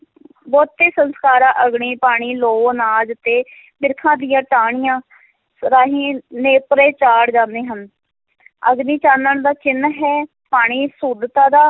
ਬਹੁਤੇ ਸੰਸਕਾਰਾਂ ਅਗਨੀ, ਪਾਣੀ, ਲੋਹ, ਅਨਾਜ ਅਤੇ ਬਿਰਖਾਂ ਦੀਆਂ ਟਹਿਣੀਆਂ ਰਾਹੀਂ ਨੇਪਰੇ ਚਾੜ੍ਹ ਜਾਂਦੇ ਹਨ ਅਗਨੀ ਚਾਨਣ ਦਾ ਚਿੰਨ੍ਹ ਹੈ, ਪਾਣੀ ਸ਼ੁੱਧਤਾ ਦਾ,